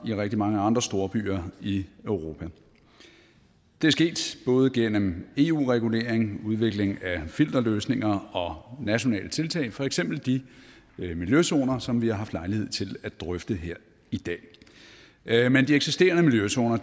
i rigtig mange andre storbyer i europa det er sket både gennem eu regulering udvikling af filterløsninger og nationale tiltag for eksempel de miljøzoner som vi har haft lejlighed til at drøfte her i dag men de eksisterende miljøzoner